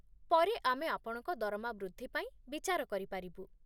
ପରେ ଆମେ ଆପଣଙ୍କ ଦରମା ବୃଦ୍ଧି ପାଇଁ ବିଚାର କରିପାରିବୁ